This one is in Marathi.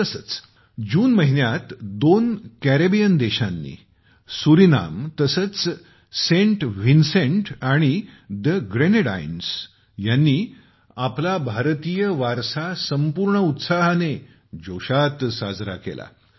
तसेच जून महिन्यात दोन कॅरिबियन देशांनी सुरीनाम आणि सेंट व्हिन्सेंट आणि द ग्रेनेडाइन्स ह्यांनी आपल्या भारतीय वारसा संपूर्ण उत्साहाने जोशात साजरा केला